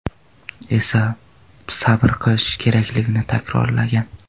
esa sabr qilishi kerakligini takrorlagan.